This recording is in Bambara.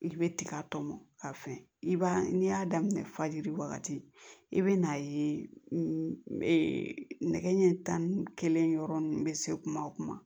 I bɛ tiga tɔmɔ ka fɛn i b'a n'i y'a daminɛ fajiri wagati i bɛ n'a ye nɛgɛ ɲɛ tan yɔrɔ ninnu bɛ se kuma o kuma